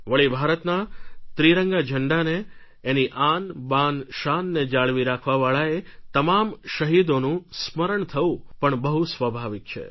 વળી ભારતના ત્રિરંગા ઝંડાને એની આનબાનશાનને જાળવી રાખવાવાળા એ તમામ શહીદોનું સ્મરણ થવું પણ બહુ સ્વાભાવિક છે